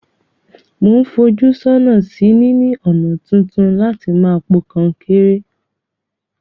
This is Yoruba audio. Mo n fojú sónà sí níní ònà tuntun láti ma po kankéré